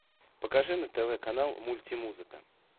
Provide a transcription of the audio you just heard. покажи на тв канал мульти музыка